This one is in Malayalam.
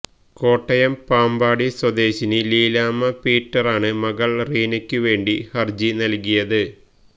കോട്ടയം പാമ്പാടി സ്വദേശിനി ലീലാമ്മ പീറ്ററാണ് മകള് റീനയ്ക്കു വേണ്ടി ഹര്ജി നല്കിയത്